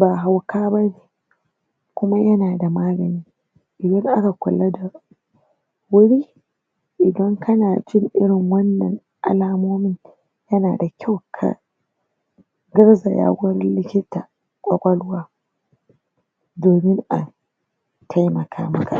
ba hauka ba ne kuma yana da magani kula da wuri idan kana jin irin wannan alamomin yana da kyau ka gurzaya gurin likitan ƙwaƙwalwa domin a taimaka maka.